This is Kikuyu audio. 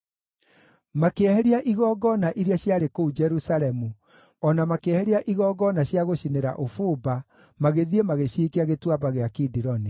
Makĩeheria igongona iria ciarĩ kũu Jerusalemu o na makĩeheria igongona cia gũcinĩra ũbumba, magĩthiĩ magĩciikia Gĩtuamba gĩa Kidironi.